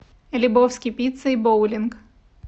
лебовски пицца и боулинг